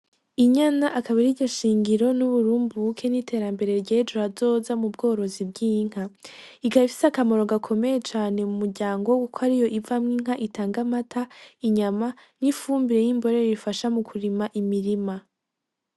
Inyana akaba ariryo shingira, uburumbuke n'iterambere ryejo hazoza mu bworozi bw'inka ikaba ifise akamaro gakomeye cane mu muryango kuko ariyo ivamwo inka itanga amata inyama, n'ifumbire yimborera ifasha kurima imirima.